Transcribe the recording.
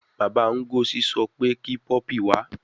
Baba Ngozi so pe ki puppy wa